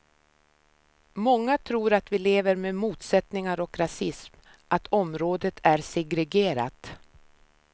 Många tror att vi lever med motsättningar och rasism, att området är segregerat.